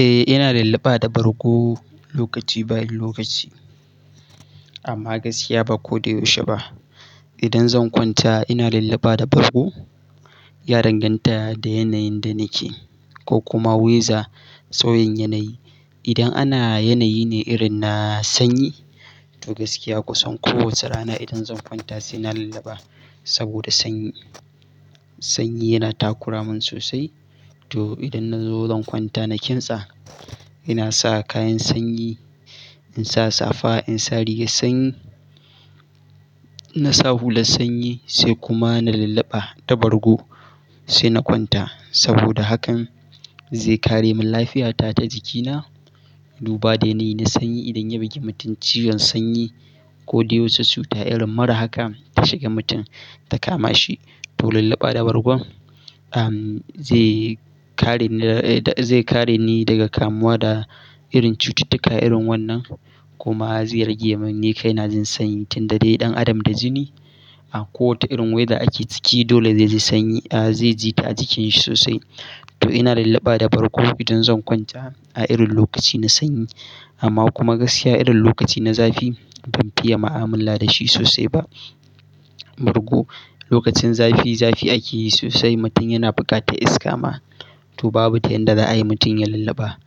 Eh ina lallaba da bargo lokaci bayan lokaci amma gaskiya ba ko da yaushe ba. Idan zan kwanta ina lallaba da bargo ya danganta da yanayin da nake ko kuma wiza tsayin yanayi. Idan ana yanayi ne irin na sanyi to gaskiya kusan kowace rana idan zan kwanta sai na lallaba saboda sanyi. Sanyi yana takura mun sosai to idan na zo zan kwanta na kintsa ina sa kayan sanyi, in sa safa, in sa rigar sanyi, na sa hulan sanyi sai kuma na lallaba da bargo sai na kwanta saboda hakan zai kare min lafiyata ta jikina. Duba da yanayi na sanyi idan ya bugi mutum ciwon sanyi ko da ya wuce cuta irin mara haka ta shiga mutum ta kama shi to lallaba da bargon am zai kare ni, zai kare ni daga kamuwa da irin cututtuka irin wannan kuma zai rage min yin kai na jin sanyi tunda dai ɗan adam da jini a kowane irin waya ake ciki dole zai ji sanyi a zai ji ta jikin shi sosai. To ina lallaba da bargo idan zan kwanta a irin lokaci na sanyi amma kuma gaskiya irin lokaci na zafi ban fiya ma amina da shi sosai ba. Bargo lokacin zafi, zafi ake yi sosai mutum yana bukatar iska ma to babu ta yanda za a yi mutum ya lallaba.